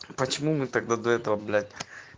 почему мы тогда до этого блять